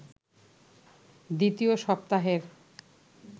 দ্বিতীয় সপ্তাহের